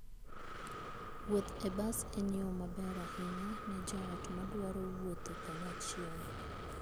Wuoth e bas en yo maber ahinya ne joot madwaro wuotho kanyachiel.